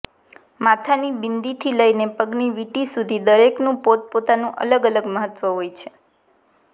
માથાની બિંદી થી લઈને પગની વીંટી સુધી દરેકનું પોત પોતાનું અલગ અલગ મહત્વ હોય છે